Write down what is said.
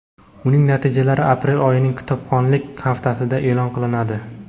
uning natijalari aprel oyining kitobxonlik haftasida eʼlon qilinadi.